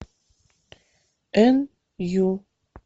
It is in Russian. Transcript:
н ю